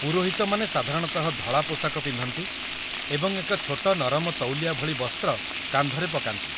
ପୁରୋହିତମାନେ ସାଧାରଣତଃ ଧଳା ପୋଷାକ ପିନ୍ଧନ୍ତି ଏବଂ ଏକ ଛୋଟ ନରମ ତଉଲିଆ ଭଳି ବସ୍ତ୍ର କାନ୍ଧରେ ପକାନ୍ତି